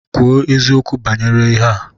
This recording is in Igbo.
Kwuo eziokwu banyere ihe a!